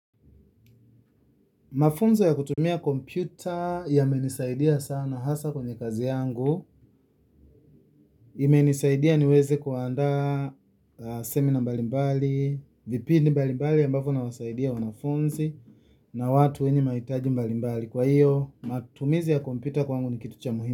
Mafunzo ya kutumia kompyuta yamenisaidia sana hasa kwenye kazi yangu, imenisaidia ni weze kuanda seminar mbali mbali, vipindi mbali mbali ambapo nawasaidia wanafunzi na watu wenye mahitaji mbali mbali. Kwa iyo, matumizi ya kompyuta kwangu ni kitu cha muhimi.